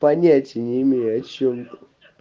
понятия не имею о чем ты